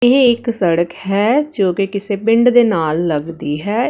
ਇਹ ਇੱਕ ਸੜਕ ਹੈ ਜੋ ਕਿ ਕਿਸੇ ਪਿੰਡ ਦੇ ਨਾਲ ਲੱਗਦੀ ਹੈ।